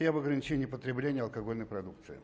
и об ограничении потребления алкогольной продукции